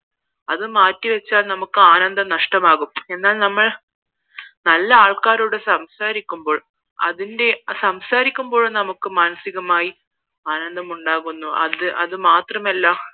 അത് മാറ്റി വച്ചാൽ നമുക്ക് ആനന്ദം നഷ്ട്ടമാകും എന്നാൽ നമ്മൾ നല്ല ആൾക്കാരോട് സംസാരിക്കുമ്പോൾ അതിന്റെ സംസാരിക്കുമ്പോൾ നമുക്ക് മാനസികമായി ആനന്ദം ഉണ്ടാകുന്നു അത് അത് മാത്രമല്ല